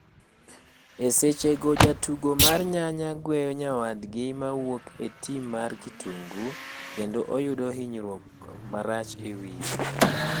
E seche go jatugo mar nyanya gweyo nyawadgi mawuok e tim mar kitungu, kedo oyudo ninyruok marach e wiye.